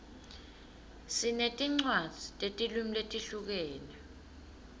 sinetincwadzi tetilwimi letihlukene